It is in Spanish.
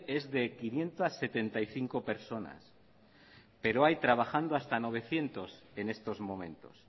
es de quinientos setenta y cinco personas pero hay trabajando hasta novecientos en estos momentos